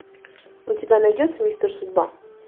у тебя найдется мистер судьба